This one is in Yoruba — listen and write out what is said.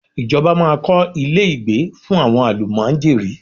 Ìjọba máa kọ́ ilé ìgbé fún àwọn àlùmájèrí.